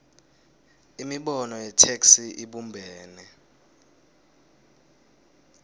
imibono yetheksthi ibumbene